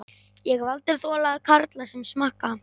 Ég hef aldrei þolað karla sem smakka.